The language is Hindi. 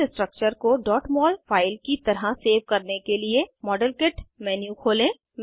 इस स्ट्रक्चर को mol फाइल की तरह सेव करने के लिए मॉडेल किट मेन्यू खोलें